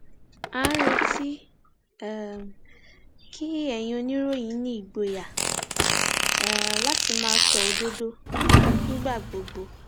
à ń retí um kí ẹyin oníròyìn ní ìgboyà um láti máa sọ òdodo nígbà gbogbo